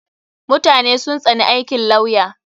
Mutane sun tsani aikin lawya.